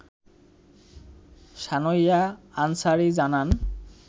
সানয়ইয়া আনসারী জানান